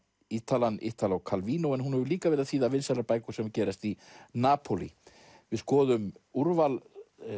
Ítalann Italo Calvino en hún hefur líka verið að þýða vinsælar bækur sem gerast í Napólí við skoðum úrval